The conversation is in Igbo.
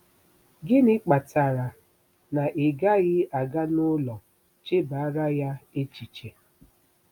Gịnị kpatara na ị gaghị aga n'ụlọ chebara ya echiche?